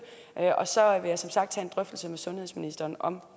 og så vil jeg som sagt tage en drøftelse med sundhedsministeren om